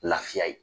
Lafiya ye